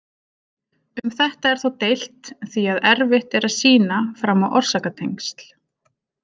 Um þetta er þó deilt því að erfitt er að sýna fram á orsakatengsl.